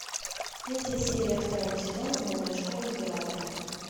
третья серия второго сезона новая школа императора